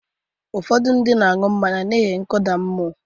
Ụfọdụ ndị na-aṅụ mmanya n’ihi nkụda mmụọ.